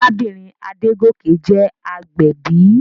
Arábìnrin Adégòkè jẹ́ agbẹ̀bí.